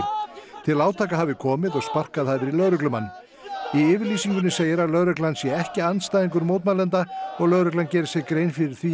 til átaka hafi komið og sparkað hafi í lögreglumann í yfirlýsingunni segir að lögreglan sé ekki andstæðingur mótmælenda og lögreglan geri sér grein fyrir því að